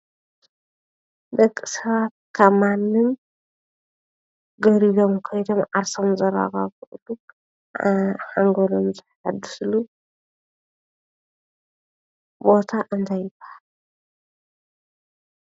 ደቂ ሰባት ካብ ማንም ገሊሎም ከይዶም ዓርሶም ዘረጋግእሉ ሓንጎሎም ዘሕድስሉ ቦታ እንታይ ይባሃል?